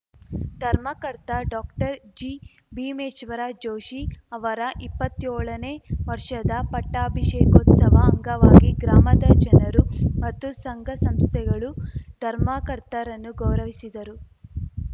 ಧರ್ಮಕರ್ತ ಡಾಕ್ಟರ್ಜಿಭೀಮೇಶ್ವರ ಜೋಷಿ ಅವರ ಇಪ್ಪತ್ತ್ಯೋಳನೇ ವರ್ಷದ ಪಟ್ಟಾಭಿಷೇಕೋತ್ಸವ ಅಂಗವಾಗಿ ಗ್ರಾಮದ ಜನರು ಮತ್ತು ಸಂಘ ಸಂಸ್ಥೆಗಳು ಧರ್ಮಕರ್ತರನ್ನು ಗೌರವಿಸಿದರು